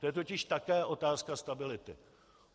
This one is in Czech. To je totiž také otázka stability.